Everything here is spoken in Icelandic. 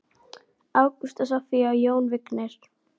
Ágústa, Soffía og Jón Vignir.